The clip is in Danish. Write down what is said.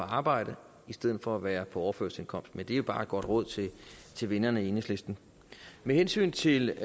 arbejde i stedet for at være på overførselsindkomst men det er jo bare et godt råd til vennerne i enhedslisten med hensyn til